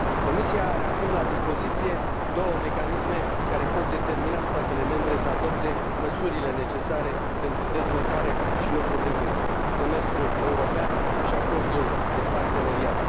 Comisia are acum la dispoziție două mecanisme care pot determina statele membre să adopte măsurile necesare pentru dezvoltare și locuri de muncă Semestrul european și Acordul de parteneriat.